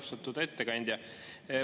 Austatud ettekandja!